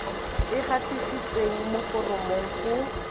e gatisitsweng mo foromong go